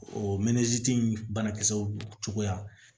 O mɛnziti in banakisɛw cogoya